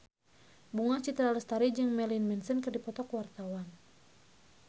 Bunga Citra Lestari jeung Marilyn Manson keur dipoto ku wartawan